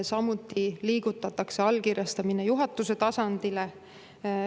Samuti liigutatakse allkirjastamine juhatuse tasandile.